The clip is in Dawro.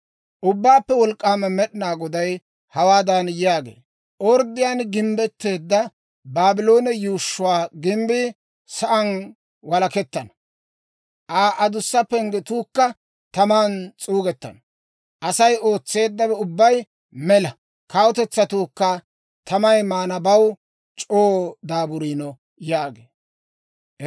Ubbaappe Wolk'k'aama Med'inaa Goday hawaadan yaagee; «Orddiyaan gimbbetteedda Baabloone yuushshuwaa gimbbii sa'aan walakettana; Aa adussa penggetuukka taman s'uugettana. Asay ootseeddawe ubbay mela; kawutetsatuukka tamay maanabaw c'oo daaburiino» yaagee.